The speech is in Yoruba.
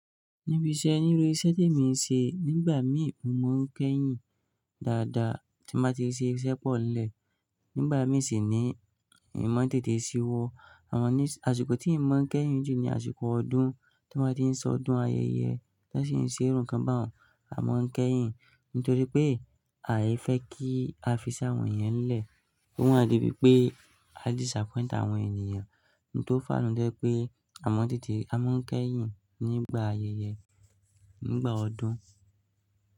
Níbi iṣẹ́, nínú iṣẹ́ tí mo ń ṣe, nígbà mí mo ń kẹ́yìn dáadáa tín ba ti ṣe iṣẹ́ pọ̀ nlè. Nígbà mí sì ní moma n tètè síwọ́. Àwọn ní-- àsìkò tí ìmọ̀ ń kẹ́yìn jù ní àsìkò ọdún ti wọn ba. Ti ń sọ ọdún ayẹyẹ, tí wọ́n sì ń ṣe irú ńǹkan bá un, a máa ń kẹ́yìn nítorí pé àìfẹ́ kí a fiṣẹ́ àwọn yẹn lẹ̀. Ó wá di pé pé a disappoint àwọn ènìyàn. N tó fà nu to jẹ́ pé à mọ̀ tètè a máa ń kẹ́yìn nígbà ayẹyẹ, nígbà ọdún.